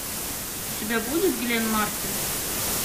у тебя будет гленн мартин